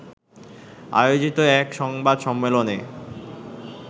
আয়োজিত এক সংবাদ সম্মেলনে